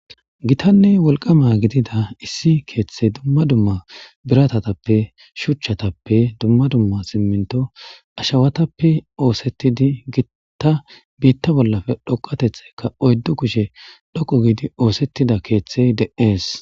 Gitanne wolqama gidida issi keeththey dumma dumma biratatappe shuchchatappe dumma dumma simminto ashawatappe oosettidi gittta biitta bollafe dhoqatetheka oyddu kushe dhoqo giidi oosettida keeththey de'ees.